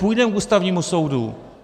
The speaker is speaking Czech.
Půjdeme k Ústavnímu soudu.